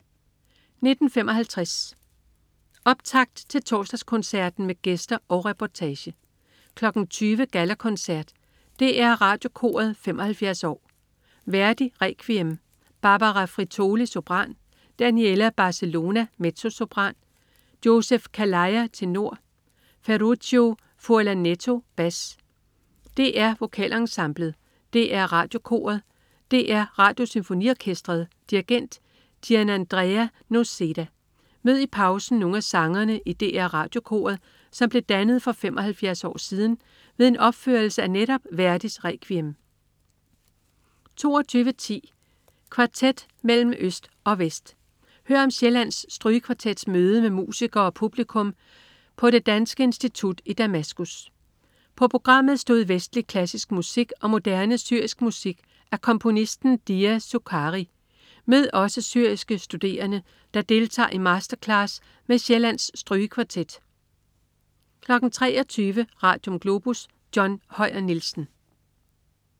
19.55 Optakt til Torsdagskoncerten med gæster og reportage 20.00 Gallakoncert. DR Radiokoret 75 år. Verdi: Requiem. Barbara Frittoli, sopran. Daniela Barcellona, mezzosopran. Joseph Calleja, tenor. Ferruccio Furlanetto, bas. DR Vokalensemblet. DR Radiokoret. DR Radiosymfoniorkestret. Dirigent: Gianandrea Noseda. Mød i pausen nogle af sangerne i DR Radiokoret, som blev dannet for 75 år siden ved en opførelse af netop Verdis Requiem 22.10 Kvartet mellem øst og vest. Hør om Sjællands Strygekvartets møde med musikere og publikum i på Det Danske Institut i Damaskus. På programmet stod vestlig klassisk musik og moderne syrisk musik af komponisten Dia Succari. Mød også syriske studerende, der deltager i masterclass med Sjællands Strygekvartet 23.00 Radium. Globus. John Høyer Nielsen